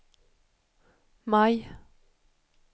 maj